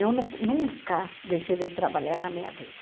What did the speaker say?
Eu nu nunca deixei de trabalhar na minha vida.